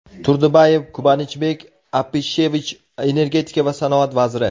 Turdubayev Kubanichbek Apishevich Energetika va sanoat vaziri;.